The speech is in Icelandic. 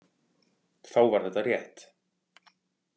Þá var þetta rétt.